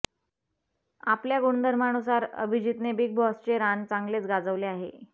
आपल्या गुणधर्मानुसार अभिजितने बिग बॉसचे रान चांगलेच गाजवले आहे